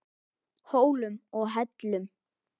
Hólum og hellum.